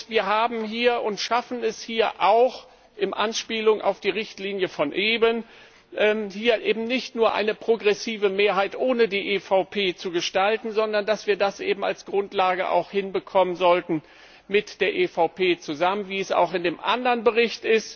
Wir schaffen es hier auch, in Anspielung auf die Richtlinie von eben, nicht nur eine progressive Mehrheit ohne die EVP zu gestalten, sondern dass wir das eben auch als Grundlage hinbekommen sollten, mit der EVP zusammen, wie auch in dem anderen Bericht.